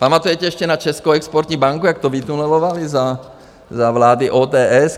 Pamatujete ještě na Českou exportní banku, jak to vytunelovali za vlády ODS?